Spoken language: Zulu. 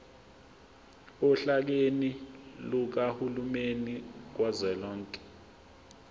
ohlakeni lukahulumeni kazwelonke